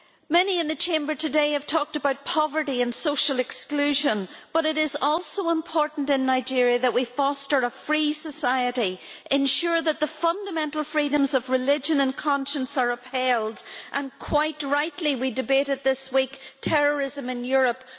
Many in the Chamber today have talked about poverty and social exclusion, but it is also important in Nigeria that we foster a free society, ensure that the fundamental freedoms of religion and conscience are upheld and, quite rightly, we debated this week terrorism in Europe.